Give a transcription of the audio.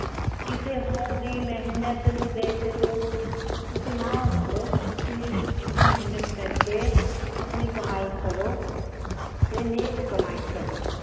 ਕਿਸੇ ਹੋਰ ਦੀ ਮੇਹਨਤ ਨੂੰ ਦੇਖ ਕੇ ਤੁਸੀਂ ਨਾ ਸੜੋ। ਤੁਸੀਂ ਆਪ ਮੇਹਨਤ ਕਰਕੇ ਆਪਣੀ ਕਮਾਈ ਕਰੋ। ਤੇ ਨੇਕ ਕਮਾਈ ਕਰੋ।